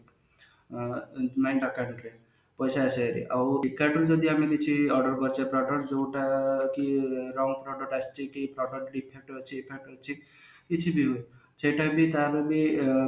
ପଇସା ଆସିଯାଇ ଥିବ ଆଉ ଯଦି ଆମେ କିଛି order କରିଛେ product ଯୋଉ ଟା କି wrong product ଆସିଛି କି product defective ଅଛି ଅଛି କିଛି ବି ହଉ ସେଟା ବି ତା ବଦଳରେ ଏ